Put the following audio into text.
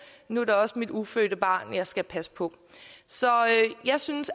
nu er det også mit ufødte barn jeg skal passe på så jeg synes